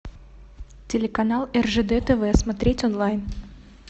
телеканал ржд тв смотреть онлайн